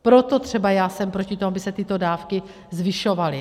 Proto třeba já jsem proti tomu, aby se tyto dávky zvyšovaly.